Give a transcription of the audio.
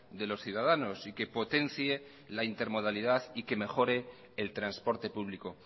de los ciudadanos y que potencie la intermodalidad y que mejore el transporte público